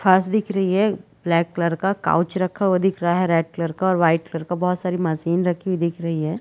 फर्स दिख रही है ब्लैक कलर का काउच रखा हुआ दिख रहा है रेड कलर का वाइट कलर का बहुत सारी मशीन रखी हुई दिख रही है।